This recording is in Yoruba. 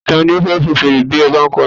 Ta ni ó fẹ́ fọn fèrè tí ẹ bá ń kọ orin?